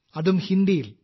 അതും ഹിന്ദിയിൽ